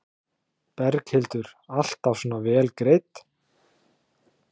Berghildur: Alltaf svona vel greidd?